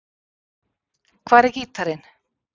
Hvar er gítarinn?